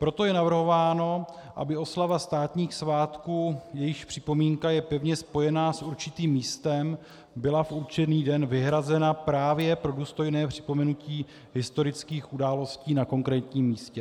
Proto je navrhováno, aby oslava státních svátků, jejichž připomínka je pevně spojená s určitým místem, byla v určený den vyhrazena právě pro důstojné připomenutí historických událostí na konkrétním místě.